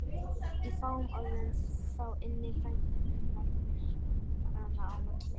Í fáum orðum, þá ynni frændi hennar myrkranna á milli.